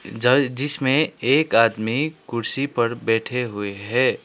जल जिसमें एक आदमी कुर्सी पर बैठे हुए हैं।